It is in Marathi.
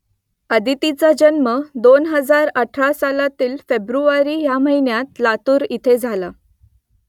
अदितीचा जन्म दोन हजार अठरा सालातील फेब्रुवारी ह्या महिन्यात लातूर इथे झाला